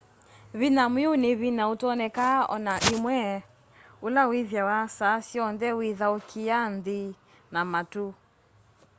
vinya mwiu ni vinya utonekaa ona imwe ula withiawa saa syonthe withaukia nthi na matu